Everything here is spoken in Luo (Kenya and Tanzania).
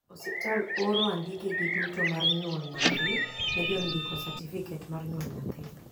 osiptal oro andikegi duto mar nyuol nyathi ne jo ndiko satifiket mar nyuol nyathi